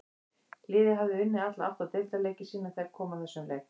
Liðið hafði unnið alla átta deildarleiki sína þegar kom að þessum leik.